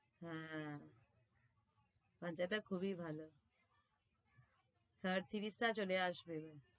হ্যাঁ টা খুবই ভালো third series টা চলে আসবে।